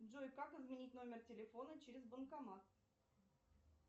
джой как изменить номер телефона через банкомат